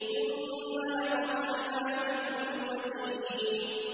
ثُمَّ لَقَطَعْنَا مِنْهُ الْوَتِينَ